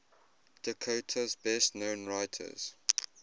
dakota's best known writers